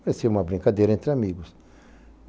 Parecia uma brincadeira entre amigos.